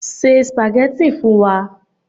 Ṣé spaghetti fún wa